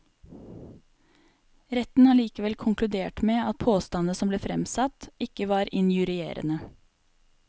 Retten har likevel konkludert med at påstandene som ble fremsatt, ikke var injurierende.